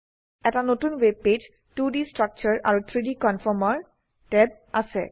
এটা নতুন web page 2ডি ষ্ট্ৰাকচাৰে আৰু 3ডি কনফৰ্মাৰ ট্যাব আছে